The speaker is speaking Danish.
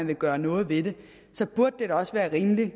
vil gøre noget ved det så burde det da også være rimeligt at